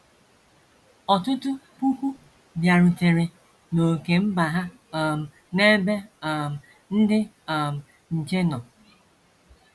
Ọtụtụ puku bịarutere n’ókè mba ha um n’ebe um ndị um nche nọ.